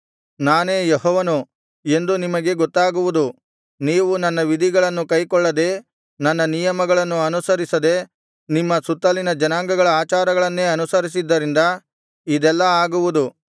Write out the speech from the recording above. ನಾನೇ ಯೆಹೋವನು ಎಂದು ನಿಮಗೆ ಗೊತ್ತಾಗುವುದು ನೀವು ನನ್ನ ವಿಧಿಗಳನ್ನು ಕೈಕೊಳ್ಳದೆ ನನ್ನ ನಿಯಮಗಳನ್ನು ಅನುಸರಿಸದೆ ನಿಮ್ಮ ಸುತ್ತಲಿನ ಜನಾಂಗಗಳ ಆಚಾರಗಳನ್ನೇ ಅನುಸರಿಸಿದ್ದರಿಂದ ಇದೆಲ್ಲಾ ಆಗುವುದು